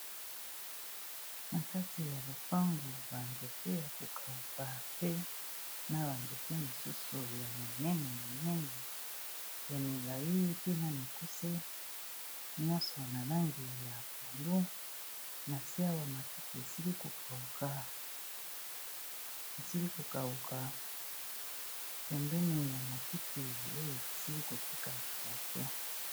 Na kati ya lopango ba nzete ya ko kauka pe na ba nzete misusu ya minene minene ya milayi, pe na mikuse nyonso na langi ya pondu. Na se awa matiti esili ko kauka, pembeni ya matiti oyo esili ko tikala moke.